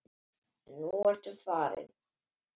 En nú ertu farin.